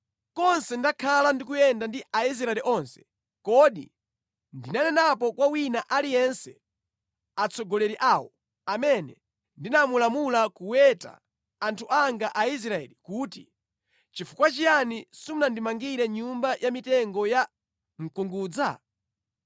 Konse ndakhala ndikuyenda ndi Aisraeli onse, kodi ndinanenapo kwa wina aliyense atsogoleri awo, amene ndinamulamula kuweta anthu anga Aisraeli kuti, nʼchifukwa chiyani simunandimangire nyumba ya mitengo ya mkungudza?’ ”